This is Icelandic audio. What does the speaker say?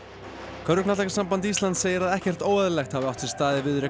körfuknattleikssamband Íslands segir að ekkert óeðlilegt hafi átt sér stað í viðureign